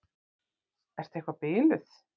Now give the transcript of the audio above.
Ertu eitthvað biluð?